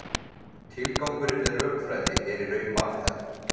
Tilgangurinn með rökfræði er í raun margþættur.